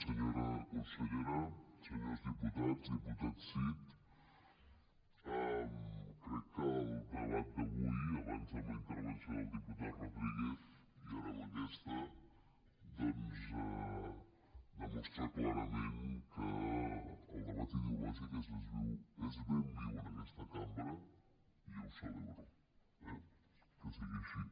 senyora consellera senyors diputats diputat cid crec que el debat d’avui abans amb la intervenció del diputat rodríguez i ara amb aquesta doncs demostra clarament que el debat ideològic és ben viu en aquesta cambra i jo ho celebro eh que sigui així